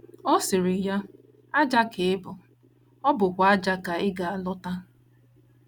Ọ sịrị ya: “ Ájá ka ị bụ, ọ bụkwa ájá ka ị ga - alọta. ”